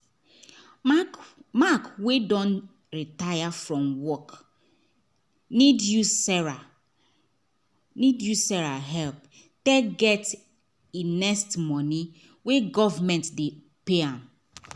mark mark wey don retire from work need use sarah need use sarah help take get e next money wey government dey pay am